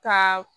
Ka